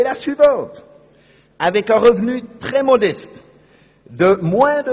Die Regierung muss ihre Steuertarife überdenken, damit Personen mit demselben Einkommen gleich besteuert werden.